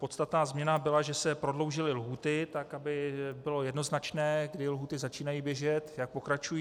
Podstatná změna byla, že se prodloužily lhůty tak, aby bylo jednoznačné, kdy lhůty začínají běžet, jak pokračují.